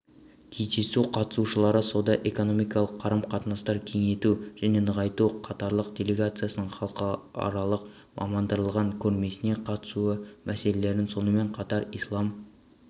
кездесу қатысушылары сауда-экономикалық қарым-қатынастарды кеңейту жәненығайту катарлық делегацияның халықаралық мамандандырылған көрмесіне қатысуы мәселелерін сонымен қатар ислам